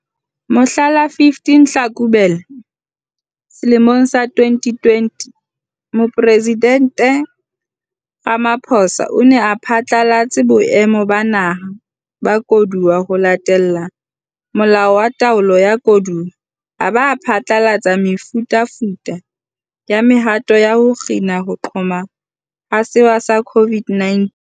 Mohla la 15 Tlhakubele selemong sa 2020, Mopresidente Ramaphosa o ne a phatlalatse Boemo ba Naha ba Koduwa ho latela Molao wa Taolo ya Koduwa, a ba a phatlalatsa mefutafuta ya mehato ya ho kgina ho qhoma ha sewa sa COVID-19.